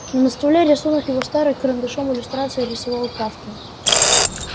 но на столе рисунок его старый карандашом иллюстрации рисовал к кафке